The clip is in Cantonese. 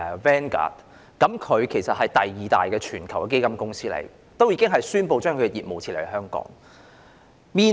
其後，全球第二大基金公司領航投資宣布將其業務撤離香港。